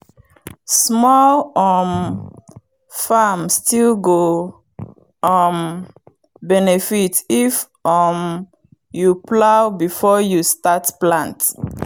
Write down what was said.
small um farm still go um benefit if um you plow before you start plant.